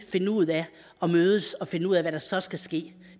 mødes og finde ud af hvad der så skal ske